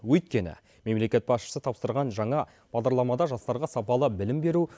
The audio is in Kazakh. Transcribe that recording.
өйткені мемлекет басшысы тапсырған жаңа бағдарламада жастарға сапалы білім беру